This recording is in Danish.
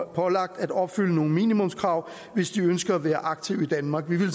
pålagt at opfylde nogle minimumskrav hvis de ønsker at være aktive i danmark vi ville